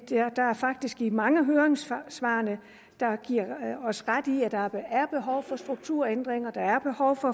faktisk mange af høringssvarene der giver os ret i at der er behov for strukturændringer